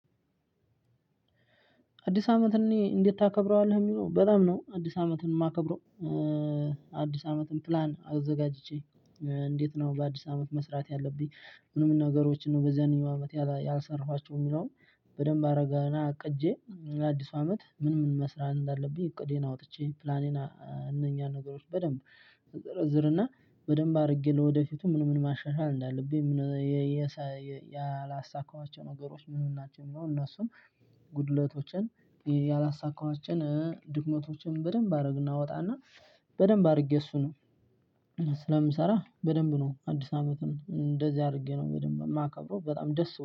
አዲስ አመት እኔ እንዴት ታከብረዋለህ የሚለው በጣም ነው አዲስ አመትን የማከብረው። አዲስ አመትን ፕላን አዘጋጅቼ። እንዴት ነው በአዲስ አመት መስራት ያለብኝ። ምን ምን ነገሮችን ነው በዚያኛው አመት ያለ ያልሰራዋቸው የሚለውን። በደንብ አረግና አቅጄ ለአዲሱ አመት ምን ምን መስራት እንዳለብኝ እቅዴን አውጥቼ ፕላኔን እነኚህን ነገሮች በደንብ። እዘርዝርና በደንብ አድርጌ ለወደፊቱ ምን ምን ማሻሻል እንዳለብኝ ምን የሳ ያላሳካዋቸው ነገሮች ምን ምን ናቸው የሚለው እነሱን። ጉድለቶችን ያላሳካዋቸውን ድክመቶችን በደንብ አደረግና እወጣና በደንብ አድርጌ እሱን። ስለምሰራ በደንብ ነው አዲስ አመትም እንደዚህ አድርጌ ነው በደንብ የማከብረው በጣም ደስ